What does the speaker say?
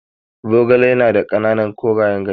Zogale ya na da ƙananan korayen ganye.